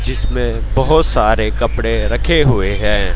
जिसमें बहुत सारे कपड़े रखे हुए हैं।